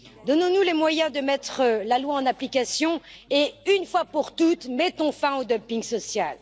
Donnons nous les moyens de mettre la loi en application et une fois pour toutes, mettons fin au dumping social.